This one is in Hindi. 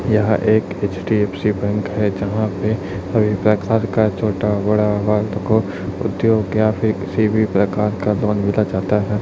यह एक एच_डी_एफ_सी बैंक है यहां पे सभी प्रकार का छोटा बड़ा वार्ड को उद्योग या फिर किसी भी प्रकार का जाता है।